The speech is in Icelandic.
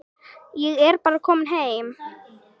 Ég er bara kominn heim.